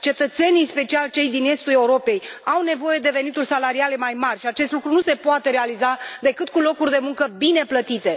Cetățenii, în special cei din Estul Europei, au nevoie de venituri salariale mai mari și acest lucru nu se poate realiza decât cu locuri de muncă bine plătite.